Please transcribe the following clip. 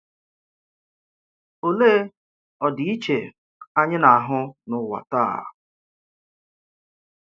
Òlè ọdịiche anyị na-àhụ n’ụwa taa?